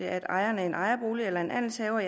at ejeren af en ejerbolig eller en andelshaver